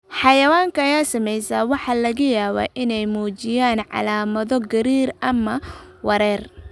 Xayawaanka ay saamaysay waxaa laga yaabaa inay muujiyaan calaamado gariir ama wareer.